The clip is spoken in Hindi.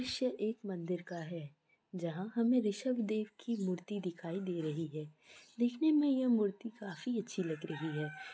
श्य एक मंदिर का है जहां हमें ऋषभ देव की मूर्ति दिखाई दे रही है देखने में यह मूर्ति काफी अच्छी लग रही है।